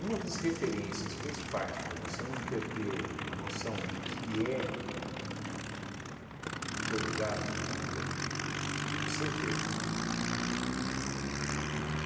Uma das referências principais para você não perder a noção do que é o teu lugar de vida, é você ver.